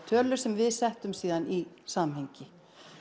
tölur sem við settum svo í samhengi